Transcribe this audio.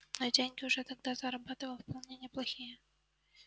но деньги уже тогда зарабатывал вполне неплохие